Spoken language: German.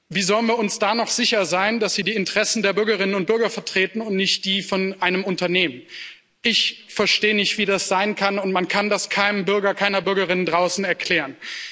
Wie sollen wir uns da noch sicher sein, dass sie die Interessen der Bürgerinnen und Bürger vertreten und nicht die von einem Unternehmen? Ich verstehe nicht, wie das sein kann, und man kann das keinem Bürger, keiner Bürgerin draußen erklären.